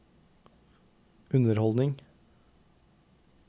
underholdning